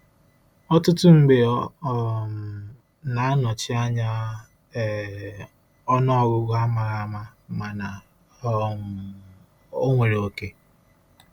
Ọtụtụ mgbe ọ um na-anọchi anya um ọnụọgụ amaghi ama mana um ọ nwere oke.